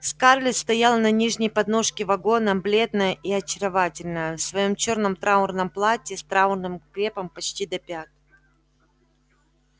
скарлетт стояла на нижней подножке вагона бледная и очаровательная в своём чёрном траурном платье с траурным крепом почти до пят